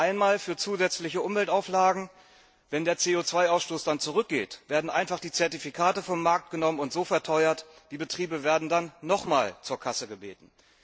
Einmal für zusätzliche Umweltauflagen Wenn der CO 2 Ausstoß dann zurückgeht, werden einfach die Zertifikate vom Markt genommen und so verteuert die Betriebe werden dann noch einmal zur Kasse gebeten.